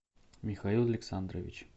михаил александрович